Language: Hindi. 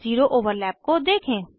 ज़ीरो ओवरलैप को देखें